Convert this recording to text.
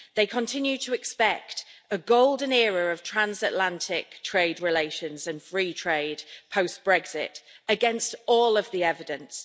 They continue to expect a golden era of transatlantic trade relations and free trade post Brexit against all of the evidence.